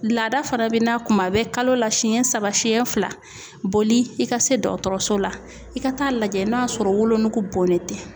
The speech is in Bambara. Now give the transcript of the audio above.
Laada fana bɛ na kuma bɛ kalo la, siɲɛ saba siyɛn fila , boli i ka se dɔgɔtɔrɔso la, i ka ta'a lajɛ n'a sɔrɔ wolonugu bonlen tɛ.